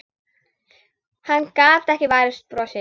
Hann gat ekki varist brosi.